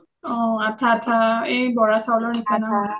আঠা আঠা এই বৰা চাউলৰ নিচিনা